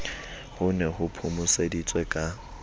ho ne ho phomoseditswe ka